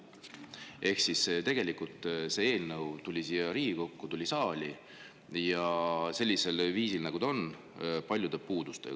Ehk siis tegelikult see eelnõu tuli siia Riigikokku, tuli saali sellisel viisil, nagu ta on – paljude puudustega.